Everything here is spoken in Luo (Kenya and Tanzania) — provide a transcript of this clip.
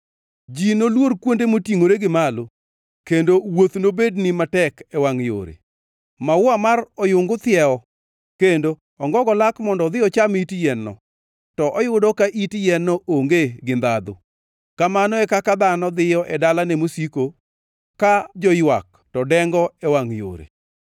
Ji noluor kuonde motingʼore gi malo kendo wuoth nobednigi matek e wangʼ yore. Maua mar oyungu thiewo kendo ongogo lak mondo odhi ocham it yien-no, to oyudo ka it yien-no onge gi ndhandhu. Kamano e kaka dhano dhiyo e dalane mosiko ka joywak to dengo e wangʼ yore.